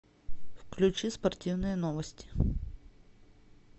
включи спортивные новости